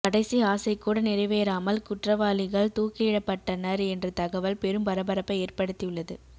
கடைசி ஆசை கூட நிறைவேறாமல் குற்றவாளிகள் தூக்கிலிடப்பட்டனர் என்ற தகவல் பெரும் பரபரப்பை ஏற்படுத்தியுள்ளது